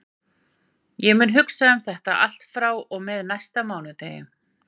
Ég mun hugsa um þetta allt frá og með næsta mánudegi.